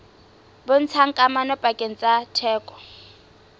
bontshang kamano pakeng tsa theko